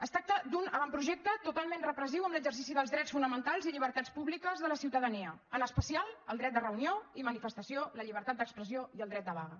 es tracta d’un avantprojecte totalment repressiu amb l’exercici dels drets fonamentals i llibertats públiques de la ciutadania en especial el dret de reunió i manifestació la llibertat d’expressió i el dret de vaga